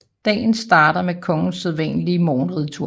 Dagen starter med kongens sædvanlige morgenridetur